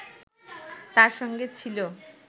তার সঙ্গে ছিল